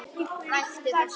Hættu þessu!